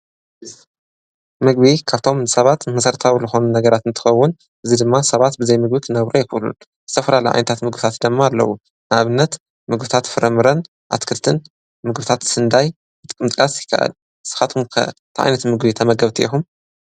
ምግቢ ካብቶም ሰባት መሠርታዊ ልኾኑ ነገራትን ትኸውን እዙይ ድማ ሰባት ብዘይምግቢት ነብሮ ኣየፍሉን ሠፍራላ ኣይንታት ምግብታት ደማ ኣለዉ ናብነት ምግብታት ፍረምረን ኣትክርትን ምግብታት ስንዳይ ብጥቅምጥቃት ይከኣል ስኻትኩምከ ተይይነት ምግቢ ተመገብቲ ኢኹም?